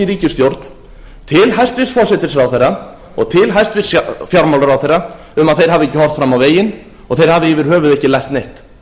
ríkisstjórn til hæstvirts forsætisráðherra og til hæstvirts fjármálaráðherra um að þeir hafi ekki horft fram á veginn og þeir hafi yfir höfuð ekki lært neitt